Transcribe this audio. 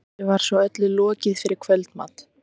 Þessu var svo öllu lokið fyrir kvöldmat.